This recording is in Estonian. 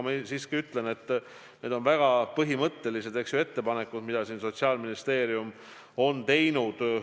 Ma siiski ütlen, et need on väga põhimõttelised ettepanekud, mis Sotsiaalministeerium on teinud.